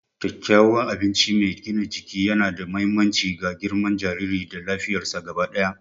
Kyakkyawan abinci mai gina jiki yana da mahimmanci ga girman jariri da lafiyarsa gaba ɗaya.